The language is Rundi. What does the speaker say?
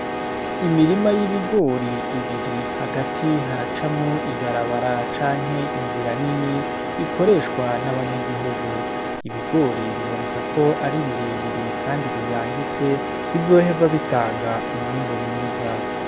Imirima y'ibigori ibiri, hagati haracamwo ibarabara canke inzira nini, ikoreshwa n'abanyagihugu. Ibigori biboneka ko ari birebire kandi biyangitse, bizohava bitanga umwimbu mwiza.